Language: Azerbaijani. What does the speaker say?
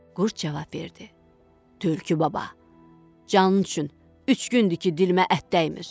Qurd cavab verdi: "Tülkü baba, canın üçün üç gündür ki, dilimə ət dəymir."